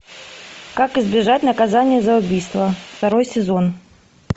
как избежать наказания за убийство второй сезон